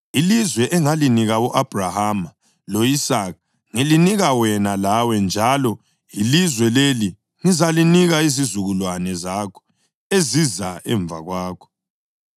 Ilizwe engalinika u-Abhrahama lo-Isaka ngilinika wena lawe, njalo ilizwe leli ngizalinika izizukulwane zakho eziza emva kwakho.”